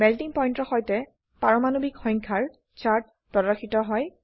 melting pointৰ সৈতে পাৰমাণবিক সংখ্যা ৰ চাৰ্ট প্ৰদৰ্শিত হয়